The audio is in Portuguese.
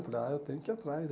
Ah, eu tenho que ir atrás.